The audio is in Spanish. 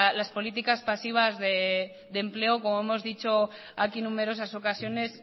las políticas pasivas de empleo que como hemos dicho aquí en numerosas ocasiones